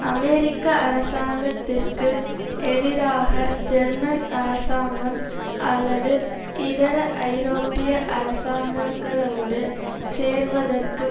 அமெரிக்க அரசாங்கத்திற்கு எதிராக ஜெர்மன் அரசாங்கம் அல்லது இதர ஐரோப்பிய அரசாங்கங்களோடு சேர்வதற்கு